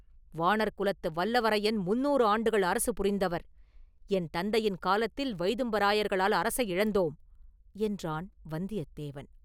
“வாணர்குலத்து வல்லவரையர் முந்நூறு ஆண்டுகள் அரசு புரிந்தவர்; என் தந்தையின் காலத்தில் வைதும்பராயர்களால் அரசை இழந்தோம்” என்றான் வந்தியத்தேவன்.